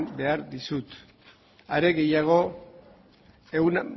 behar dizut are gehiago ehun